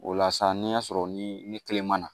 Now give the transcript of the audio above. O la sa n'i y'a sɔrɔ ni ni kelen ma na